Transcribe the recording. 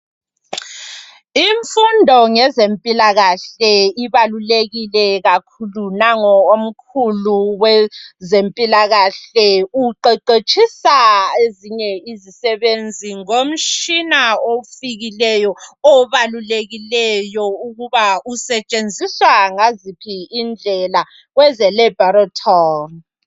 Imfundo ngezempilakahle ibalulekile kakhulu nango omkhulu wezempilakahle uqeqetshisa ezinye izisebenzi ngomtshina ofikileyo obalulekileyo ukuba usetshenziswa ngaziphi indlela kweze lebhorethori